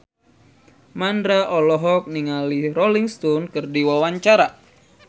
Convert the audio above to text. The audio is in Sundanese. Mandra olohok ningali Rolling Stone keur diwawancara